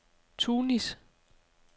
Tunis